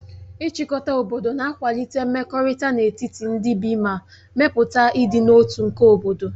Ịchịkọta obodo na-akwalite mmekọrịta n'etiti ndị bi ma mepụta ịdị n'otu tu nke obodo.